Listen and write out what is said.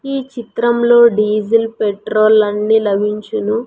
ఈ చిత్రంలో diesel petrol అన్ని లభించును.